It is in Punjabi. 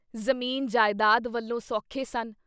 ਜ਼ਮੀਨ ਜਾਇਦਾਦ ਵੱਲੋਂ ਸੌਖੇ ਸਨ।